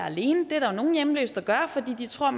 alene det er der nogle hjemløse der gør fordi de tror